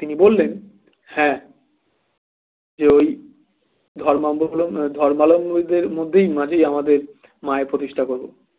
তিনি বললেন হ্যাঁ যে ওই ধর্মালুম ধর্মালম্বীদের মধ্যেি মাঝেই আমাদের মায়ের প্রতিষ্ঠা করবো